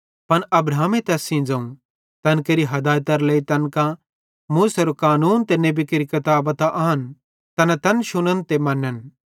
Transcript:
पन अब्राहमे तैस ज़ोवं तैन केरि हदायतरे लेइ तैन कां मूसेरो कानूने ते नेबी केरि किताबां त आन तैना तैन शुनन् ते मनन्